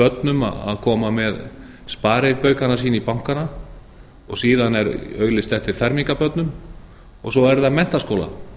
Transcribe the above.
börnum að koma með sparibaukana sína í bankana og síðan er auglýst eftir fermingarbörnum og svo